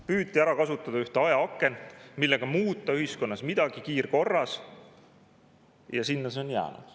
Püüti ära kasutada ühte ajaakent, et ühiskonnas midagi kiirkorras muuta, ja sinna see on jäänud.